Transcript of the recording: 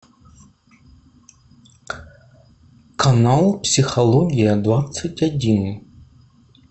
канал психология двадцать один